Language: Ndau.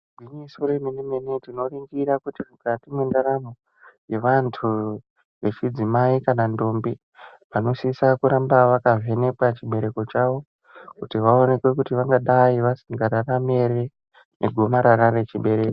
Igwinyiso remene-mene tinoningira mukati mwendaramo yevantu vechidzimai kana ndombi vanosisa kuramba vakavhenekwa chibereko chawo kuti vaonekwe kuti vangadai vasingararami ere negomarara rechibereko.